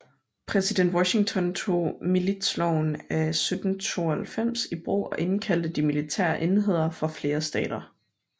Præsident Washington tog Militsloven af 1792 i brug og indkaldte de militære enheder fra flere stater